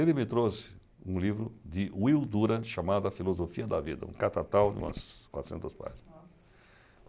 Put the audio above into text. Ele me trouxe um livro de Will Durant chamado A Filosofia da Vida, um catatau de umas quatrocentas páginas. Nossa